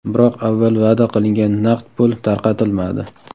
Biroq avval va’da qilingan naqd pul tarqatilmadi.